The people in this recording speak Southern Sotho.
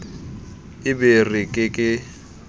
e be re ke ke